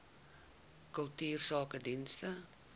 kultuursakedienste